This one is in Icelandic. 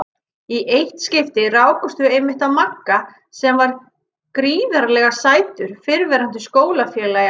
Í eitt skipti rákumst við einmitt á Magga sem var gríðarlega sætur fyrrverandi skólafélagi Ellu.